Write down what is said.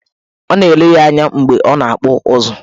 Ọ na-ele ya anya mgbe ọ na-akpụ ụzụ.